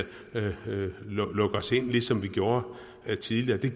lukke os inde ligesom vi gjorde tidligere det